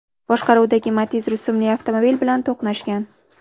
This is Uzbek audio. boshqaruvidagi Matiz rusumli avtomobil bilan to‘qnashgan.